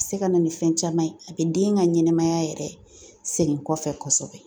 A bɛ se ka na ni fɛn caman ye a bɛ den ka ɲɛnamaya yɛrɛ segin kɔfɛ